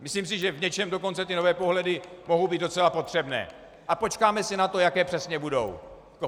Myslím si, že v něčem dokonce ty nové pohledy mohou být docela potřebné, a počkáme si na to, jaké přesně budou.